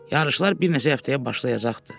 Yarışlar bir neçə həftəyə başlayacaqdı.